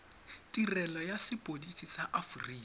tirelo ya sepodisi ya aforika